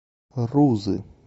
рузы